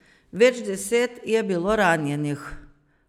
Več deset je bilo ranjenih.